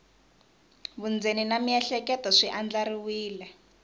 vundzeni na miehleketo swi andlariwile